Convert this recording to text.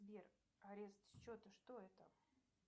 сбер арест счета что это